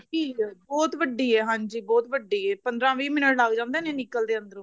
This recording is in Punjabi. ਵੱਡੀ ਏ ਬਹੁਤ ਵਦੀ ਏ ਹਾਂਜੀ ਬਹੁਤ ਵੱਡੀ ਏ ਪੰਦਰਾਂ ਵੀਹ ਮਿੰਟ ਲੱਗ ਜਾਂਦੇ ਨੇ ਨਿਕਲਦੇ ਅੰਦਰੋਂ